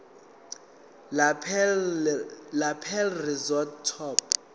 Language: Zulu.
lapel rosette top